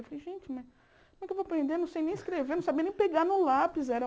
Eu falei, gente, como é que eu vou aprender não sei nem escrever, não sabia nem pegar no lápis? Era